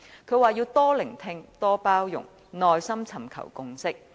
他說要多聆聽，多包容，耐心尋求共識。